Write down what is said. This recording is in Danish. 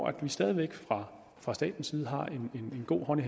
at man stadig væk fra fra statens side har